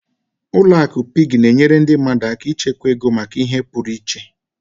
Ụlọ akụ Piggy na-enyere ndị mmadụ aka ịchekwa ego maka ihe pụrụ iche.